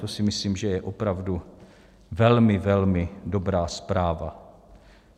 To si myslím, že je opravdu velmi velmi dobrá zpráva.